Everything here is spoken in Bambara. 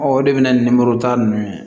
o de bɛna ninmoro ta ninnu ye